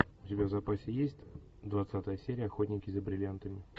у тебя в запасе есть двадцатая серия охотники за бриллиантами